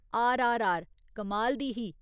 आरआरआर, कमाल दी ही।